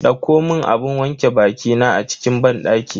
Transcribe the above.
Dauko mun abun wanke bakina a cikin banɗaki.